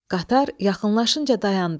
Qatar yaxınlaşınca dayandı.